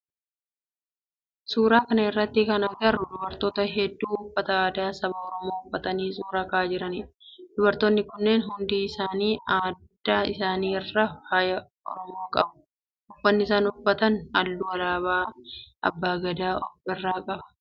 Suuraa kana irratti kan agarru dubartoota heddu uffata aadaa saba oromoo uffatanii suuraa ka'aa jiranidha. Dubartoonni kunneen hundi isaanii adda isaanii irraa faaya oromoo qabu. Uffanni isaan uffatan halluu alaabaa abbaa Gadaa of irraa qaba.